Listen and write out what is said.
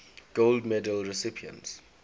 gold medal recipients